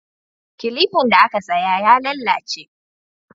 Kilifan da aka saya ya lalace